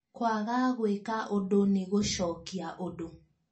Kwaga gũĩka ũndũ nĩ gũcokia ũndũ